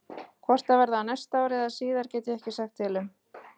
Hvort það verði á næsta ári eða síðar get ég ekki sagt til um.